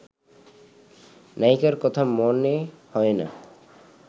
নায়িকার কথা মনে হয় না